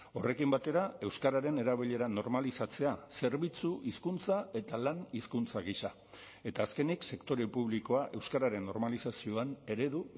horrekin batera euskararen erabilera normalizatzea zerbitzu hizkuntza eta lan hizkuntza gisa eta azkenik sektore publikoa euskararen normalizazioan eredu